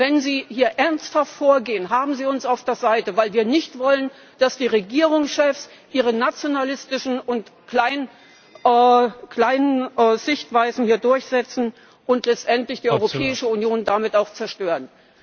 Und wenn Sie hier ernsthaft vorgehen, haben Sie uns auf Ihrer Seite, weil wir nicht wollen, dass die Regierungschefs ihre nationalistischen und kleinkarierten Sichtweisen hier durchsetzen und letztendlich die Europäische Union damit auch zerstören.